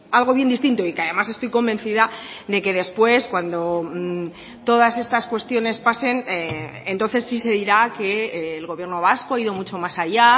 algo bien distinto y que además estoy convencida de que después cuando todas estas cuestiones pasen entonces sí se dirá que el gobierno vasco ha ido mucho más allá